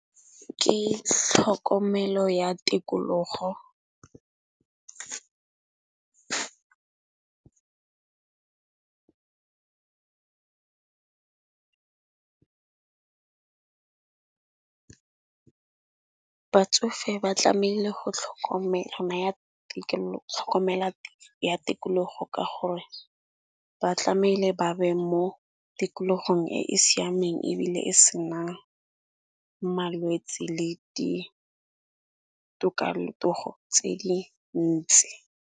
Ke tlhokomelo ya tikologo . Batsofe ba tlamaile go tlhokomela ya ya tikologo ka gore ba tlameile ba be mo tikologong e e siameng ebile e senang malwetsi le di tokalotogo tse di ntsi.